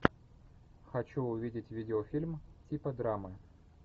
хочу увидеть видеофильм типа драмы